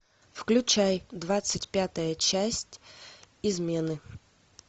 включай двадцать пятая часть измены